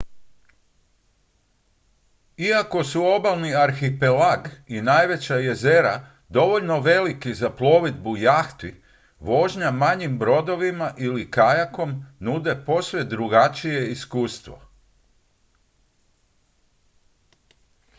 iako su obalni arhipelag i najveća jezera dovoljno veliki za plovidbu jahti vožnja manjim brodovima ili kajakom nude posve drugačije iskustvo